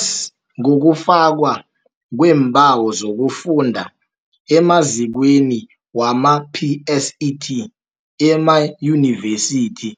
s ngokufakwa kweembawo zokufunda emazikweni wama-PSET, emaYunivesithi,